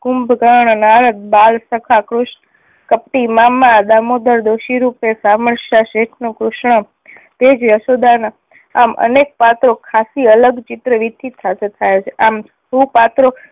કુંભકરણ, નારદ, બાલ સખા કૃષ્ણ કપટી મામા દામોદર દોશી રૂપે શામળશા શેઠ નું કૃષ્ણ તે જ યશોદા ના આમ અનેક પાત્રો ખાસી અલગ ચિત્ર થયા છે આમ સુપાત્રો